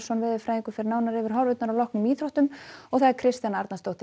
veðurfræðingur fer nánar yfir horfurnar að loknum íþróttum Kristjana Arnarsdóttir